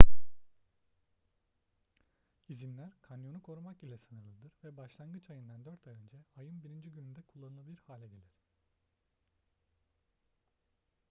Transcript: i̇zinler kanyonu korumak ile sınırlıdır ve başlangıç ayından dört ay önce ayın 1. gününde kullanılabilir hale gelir